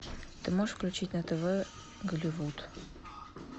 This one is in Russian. ты можешь включить на тв голливуд